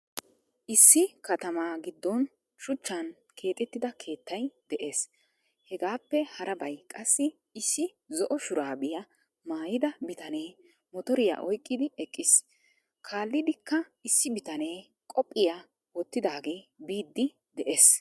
Issi katamaa giddon suchchan keexettida keettay de'ees. Hegaappe harabay qassi issi zo'o shuraabiya maayida bitanee motoriya oyqqidi eqqiis. Kaallidikka iss bitanee qophiya wottidaagee biiddi de'ees.